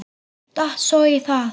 Datt svo í það.